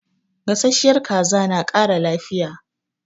Gasasshiyar kaza na ƙara lafiya.